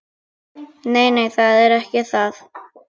Nei, nei, það er ekki það.